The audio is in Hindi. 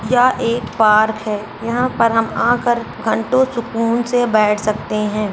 यह एक पार्क है। यहाँ पर हम आकर घंटो सुकून से बेेठ सकते हैं।